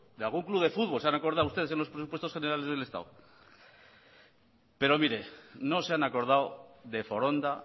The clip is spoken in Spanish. se han acordado ustedes de en los presupuestos generales del estado pero mire no se han acordado de foronda